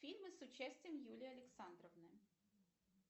фильмы с участием юлии александровны